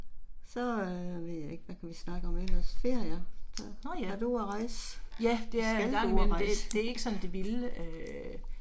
Så øh ved jeg ikke hvad kunne vi snakke om ellers ferier? Har du været ude og rejse? Skal du ud og rejse?